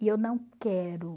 E eu não quero.